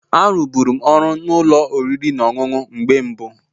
A rụgburum ọrụ na ụlọ oriri na ọṅụṅụ mgbe mbụ